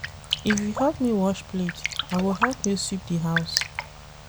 If you help me wash plate, I go help you sweep di house.